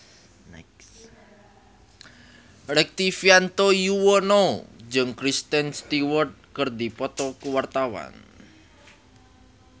Rektivianto Yoewono jeung Kristen Stewart keur dipoto ku wartawan